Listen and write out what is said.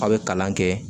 A' bɛ kalan kɛ